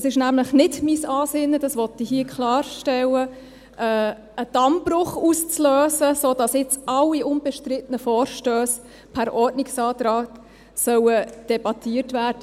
Es ist nämlich nicht mein Ansinnen – dies möchte ich hier klarstellen –, einen Dammbruch auszulösen, damit hier in diesem Saal zukünftig alle unbestrittenen Vorstösse per Ordnungsantrag debattiert werden.